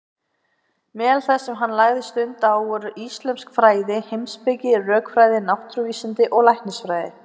Meðal þess sem hann lagði stund á voru íslömsk fræði, heimspeki, rökfræði, náttúruvísindi og læknisfræði.